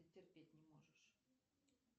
терпеть не можешь